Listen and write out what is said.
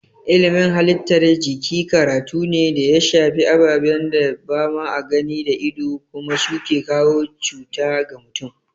Ilimin halittar jiki karatu ne da ya shafi ababen da ba a gani da ido kuma su ke kawo cuta ga mutum.